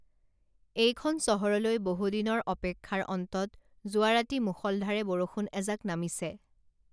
এইখন চহৰলৈ বহুদিনৰ অপেক্ষাৰ অন্তত যোৱাৰাতি মূষলধাৰে বৰষুণ এজাক নামিছে